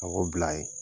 A b'o bila ye